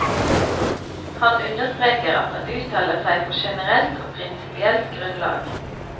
Han understreker at han uttaler seg på generelt og prinsipielt grunnlag.